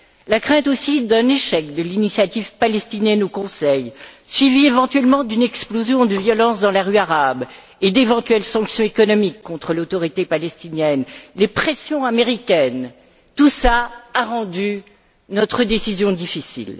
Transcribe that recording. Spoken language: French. La crainte aussi d'un échec de l'initiative palestinienne au Conseil, suivi éventuellement d'une explosion de violences dans les rues arabes et d'éventuelles sanctions économiques contre l'Autorité palestinienne, des pressions américaines, tout cela a rendu notre décision difficile.